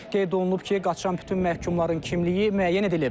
Qeyd olunub ki, qaçan bütün məhkumların kimliyi müəyyən edilib.